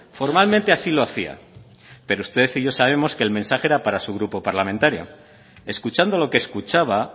formalmente así lo hacía pero usted y yo sabemos que el mensaje era para su grupo parlamentario escuchando lo que escuchaba